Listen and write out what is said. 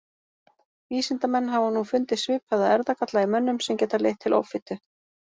Vísindamenn hafa nú fundið svipaða erfðagalla í mönnum sem geta leitt til offitu.